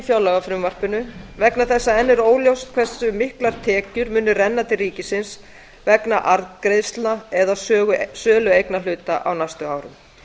fjárlagafrumvarpinu vegna þess að enn er óljóst hversu miklar tekjur munu renna til ríkisins vegna arðgreiðslna eða sölu eignarhluta á næstu árum